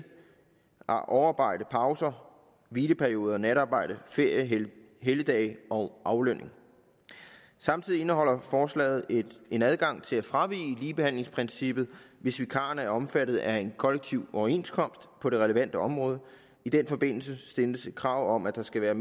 overarbejde pauser hvileperioder natarbejde ferie helligdage og aflønning samtidig indeholder forslaget en adgang til at fravige ligebehandlingsprincippet hvis vikarerne er omfattet af en kollektiv overenskomst på det relevante område i den forbindelse stilles et krav om at der skal være